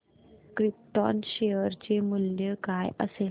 krypton share चे मूल्य काय असेल